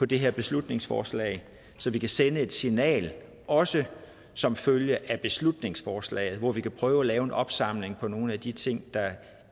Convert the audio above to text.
det her beslutningsforslag så vi kan sende et signal også som følge af beslutningsforslaget hvor vi kan prøve at lave en opsamling på nogle af de ting der